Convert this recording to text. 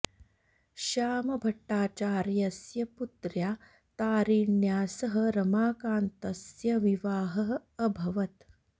श्याम भट्टाचार्यस्य पुत्र्या तारिण्या सह रमाकान्तस्य विवाहः अभवत्